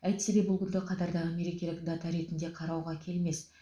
әйтсе де бұл күнді қатардағы мерекелік дата ретінде қарауға келмес